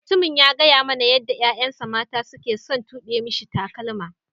Mutumin ya gaya mana yadda yayan sa mata suna son tube misi takalma.